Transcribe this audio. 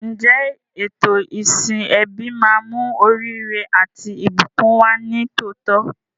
Ǹjẹ́ ètò ìsìn ẹbí máa mú oríire àti ìbùkún wá ní tòótọ́?